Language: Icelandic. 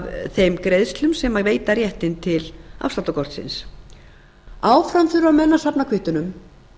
þeim greiðslum sem veita réttinn til afsláttarkortsins áfram þurfa menn að safna kvittunum